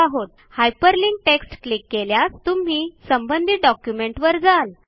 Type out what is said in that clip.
hyperlinked text click केल्यास तुम्ही संबंधित डॉक्युमेंटवर जाल